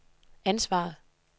ansvaret